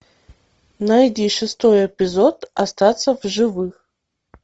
найди шестой эпизод остаться в живых